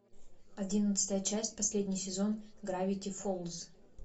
одиннадцатая часть последний сезон гравити фолз